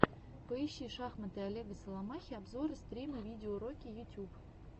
поищи шахматы олега соломахи обзоры стримы видеоуроки ютуб